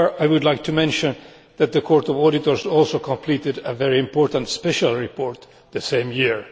However, I would like to mention that the Court of Auditors also completed a very important special report the same year.